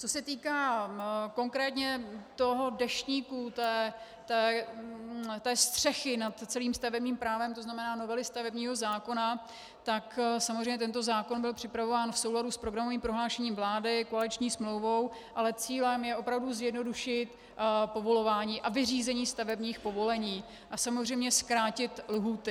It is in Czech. Co se týká konkrétně toho deštníku, té střechy nad celým stavebním právem, to znamená novely stavebního zákona, tak samozřejmě tento zákon byl připravován v souladu s programovým prohlášením vlády, koaliční smlouvou, ale cílem je opravdu zjednodušit povolování, aby řízení stavebních povolení - a samozřejmě zkrátit lhůty.